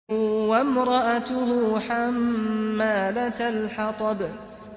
وَامْرَأَتُهُ حَمَّالَةَ الْحَطَبِ